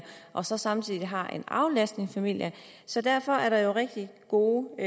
og så samtidig har en aflastningsfamilie så derfor er der jo rigtig gode